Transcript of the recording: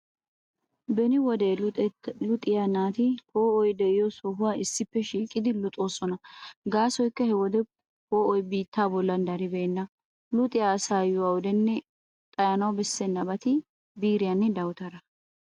Beni wode luxettaa luxiyaa naati poo'oy de'iyo sohuwaa issippe shiiqidi luxoosona gaasoykka he wode poo'oy biittaa bollan daribeenna. Luxiyaa asaayyo awudenne xayanawu bessennabati biiriyaanne dawutaraa.